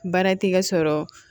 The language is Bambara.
Baara tɛ ka sɔrɔ